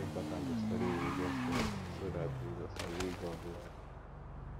e dey important to study religious texts so that we go sabi god well